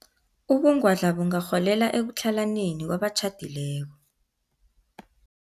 Ubungwadla bungarholela ekutlhalaneni kwabatjhadileko.